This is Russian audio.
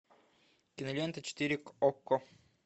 кинолента четыре окко